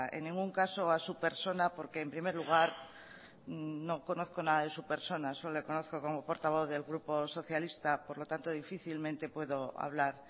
en ningún caso a su persona porque en primer lugar porque no conozco nada de su persona solo le conozco como portavoz del grupo socialista por lo tanto difícilmente puedo hablar